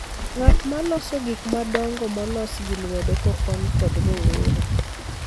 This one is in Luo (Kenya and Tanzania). ng'at ma loso gik madongo molos gi lwedo kokony kod rowere